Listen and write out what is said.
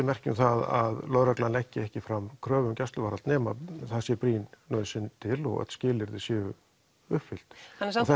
merki um það að lögreglan leggi ekki fram kröfu um gæsluvarðhald nema það sé brýn nauðsyn til og öll skilyrði sé uppfyllt samt